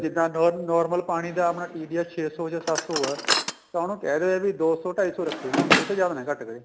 ਜਿੱਦਾਂ normal ਪਾਣੀ ਦਾ ਆਪਣਾ TDS ਛੇ ਸੋ ਜਾਂ ਸੱਤ ਸੋ ਏ ਤਾਂ ਉਹਨੂੰ ਕਹਿ ਦਿਉ ਬੀ ਦੋ ਸੋ ਢਾਈ ਸੋ ਰਖਿਉ ਇਸ ਤੋਂ ਜਿਆਦਾ ਨੀ ਘੱਟ ਕਰੇ